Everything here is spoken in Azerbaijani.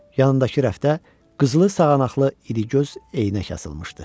Yanındakı rəfdə qızılı sağanaqlı idigöz eynək asılmışdı.